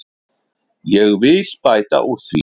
Ég vil bæta úr því.